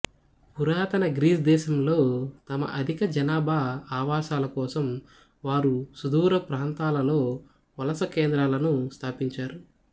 పురాతన గ్రీస్ దేశంలో తమ అధిక జనాభా ఆవాసాలకోసం వారు సుదూర ప్రాంతాలలో వలస కేంద్రాలను స్థాపించారు